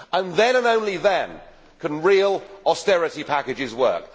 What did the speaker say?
Then, and only then, can real austerity packages work.